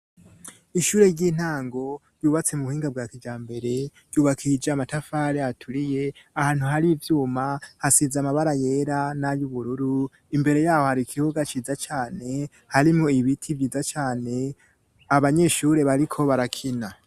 Ishure ry'intango ryubatse mu buhinga bwa kijambere yubakije amatafari aturiye, ahantu hari ivyuma hasize amabara yera n'ay'ubururu. Imbere yaho hari ikibuga ciza cane harimwo ibiti vyiza cane abanyeshuri bariko barakina.